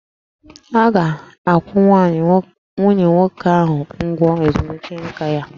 A ga-akwụ nwunye nwoke ahụ ụgwọ ezumike nka ya